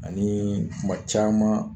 Ani kuma caman